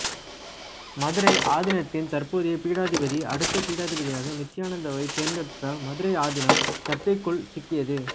மதுரை ஆதீனத்தின் தற்போதைய பீடாதிபதி அடுத்த பீடாதிபதியாக நித்யானந்தாவை தேர்ந்தெடுத்ததால் மதுரை ஆதீனம் சர்ச்சைகளுக்குள் சிக்கியது